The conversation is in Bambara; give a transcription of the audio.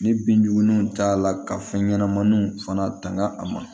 Ni binjugu ninnu cayala ka fɛn ɲɛnamaninw fana tanga a ma